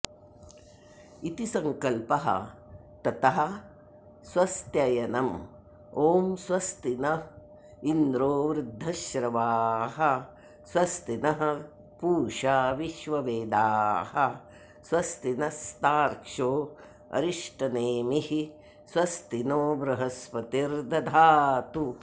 इति संकल्पः ततः स्वस्त्ययनम् ॐ स्वस्ति नऽ इन्द्रो वृद्धश्रवाः स्वस्तिनः पूषा विश्ववेदाः स्वस्तिनस्तार्क्ष्योऽरिष्टनेमिःस्वस्तिनो बृहस्पतिर्दधातु